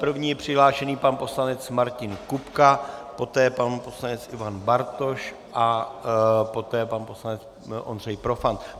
První je přihlášen pan poslanec Martin Kupka, poté pan poslanec Ivan Bartoš a poté pan poslanec Ondřej Profant.